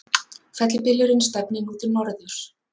Fellibylurinn stefnir nú til norðurs